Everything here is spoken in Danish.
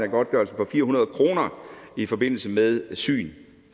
godtgørelsen på fire hundrede kroner i forbindelse med syn